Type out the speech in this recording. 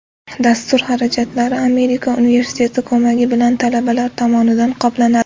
Dastur xarajatlari Amerika universiteti ko‘magi bilan talabalar tomonidan qoplanadi.